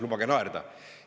Lubage naerda!